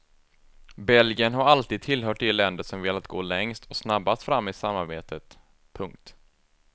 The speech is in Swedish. Belgien har alltid tillhört de länder som velat gå längst och snabbast fram i samarbetet. punkt